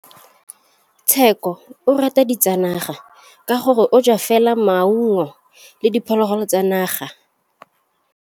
Tshekô o rata ditsanaga ka gore o ja fela maungo le diphologolo tsa naga.